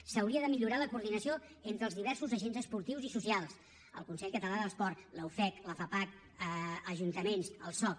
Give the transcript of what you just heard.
s’hauria de millorar la coordinació entre els diversos agents esportius i socials el consell català de l’esport la ufec la fapac ajuntaments el soc